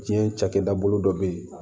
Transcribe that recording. Diɲɛ cakɛda bolo dɔ bɛ yen